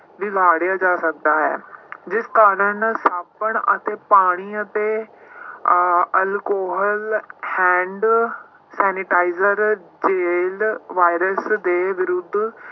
ਜਾ ਸਕਦਾ ਹੈ ਜਿਸ ਕਾਰਨ ਸਾਬਣ ਅਤੇ ਪਾਣੀ ਅਤੇ ਅਹ alcohol hand sanitizer ਵਾਇਰਸ ਦੇ ਵਿਰੁੱਧ